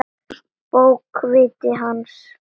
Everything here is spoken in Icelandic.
Bókviti hans?